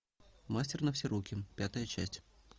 мастер на все руки пятая часть